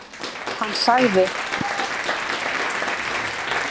Hann sagði:-Nú, manstu eftir mér?